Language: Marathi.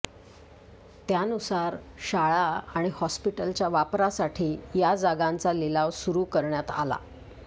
त्यानुसार शाळा आणि हॉस्पिटलच्या वापरासाठी या जागांचा लिलाव सुरू करण्यात आला